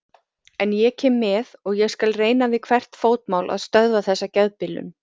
En ég kem með og ég skal reyna við hvert fótmál að stöðva þessa geðbilun